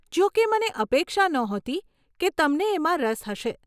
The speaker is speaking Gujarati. જોકે મને અપેક્ષા નહોતી કે તમને એમાં રસ હશે.